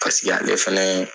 Pasiki ale fɛnɛ.